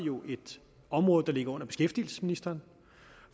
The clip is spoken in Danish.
et område der ligger under beskæftigelsesministeren